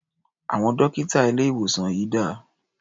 Àwọn dọ́kítà ilé-ìwòsàn yìí dà?